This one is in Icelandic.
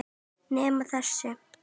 Nema þessi.